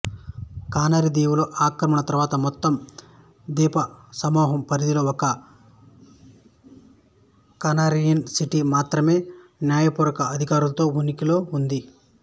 canary దీవులు ఆక్రమణ తర్వాత మొత్తం ద్వీపసమూహం పరిధిలో ఒక కానరియన్ సిటీ మాత్రమే న్యాయపూర్వక అధికారాలతో ఉనికిలో ఉంది